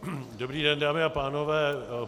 Dobrý den, dámy a pánové.